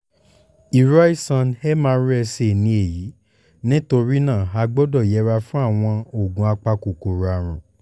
irú àìsàn mrsa ni èyí nítorí náà a gbọ́dọ̀ yẹra fún àwọn oògùn apakòkòrò àrùn